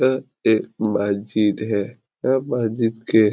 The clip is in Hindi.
यह एक मस्जिद है यह मस्जिद के --